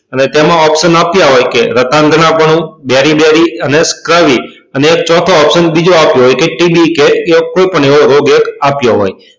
અને તેમાં opetion આપ્યા હોય કે રાતાન્ગ્નાપનું બેરી બેરી અને અને એક ચોથો opetion બીજો આપ્યો હોય કે યા કોઈ પણ એવો એક રોગ આપ્યો હોય